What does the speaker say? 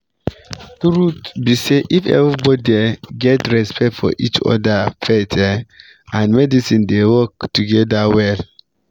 truth be say if everybody um get respect for each other faith um and medicine dey work together well